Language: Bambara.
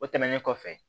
O tɛmɛnen kɔfɛ